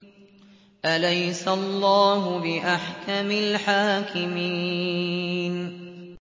أَلَيْسَ اللَّهُ بِأَحْكَمِ الْحَاكِمِينَ